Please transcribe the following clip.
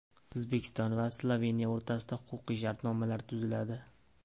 O‘zbekiston va Sloveniya o‘rtasida huquqiy shartnomalar tuziladi.